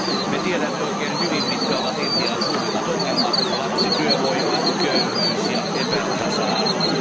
Me tiedämme oikein hyvin, mitkä ovat Intian suurimmat ongelmat lapsityövoima, köyhyys ja epätasa arvo.